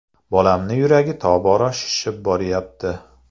Bolamni yuragi tobora shishib boryapti.